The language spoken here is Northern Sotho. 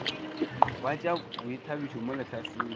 wa tša boithabišo mo lehlasedi